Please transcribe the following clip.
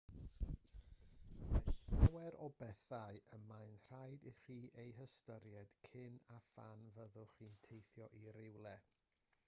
mae llawer o bethau y mae'n rhaid i chi eu hystyried cyn a phan fyddwch chi'n teithio i rywle